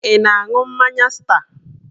Ị na-aṅụ mmanya star?